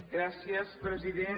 gràcies president